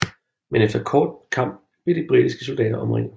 Men efter en kort kamp blev de britiske soldater omringet